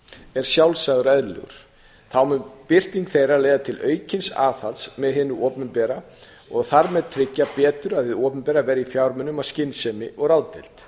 er sjálfsagður og eðlilegur þá mun birting þeirra leiða til aukins aðhalds með hinu opinbera og þar með tryggja betur að hið opinbera verji fjármunum af skynsemi og ráðdeild